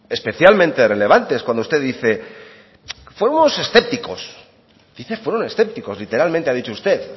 especialmente relevantes cuando usted dice fueron escépticos literalmente ha dicho usted